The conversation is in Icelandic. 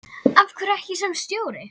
Af hverju ekki sem stjóri?